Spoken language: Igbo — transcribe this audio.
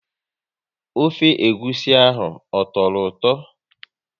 Ofe egwusi ahụ, ọ tọrọ ụtọ?